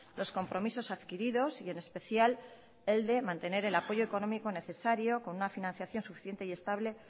los compromisos adquiridos y en especial el de mantener el apoyo económico necesario con una financiación suficiente y estable